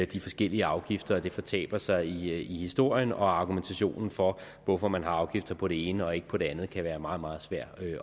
de forskellige afgifter og det fortaber sig i historien argumentationen for hvorfor man har afgifter på det ene og ikke på det andet kan være meget meget svær